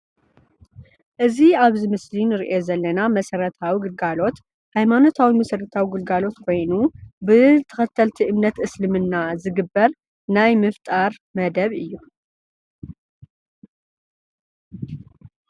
እዚ ኣብዚ ምስሊ እንርእዮ ዘለና መሰረታዊ ግልጋሎት ሃይማኖታዊ መሰረታዊ ግልጋሎት ኮይኑ ብተከተልቲ እምነት እስልምና ዝግበር ናይ ምፍጣር መደብ እዩ።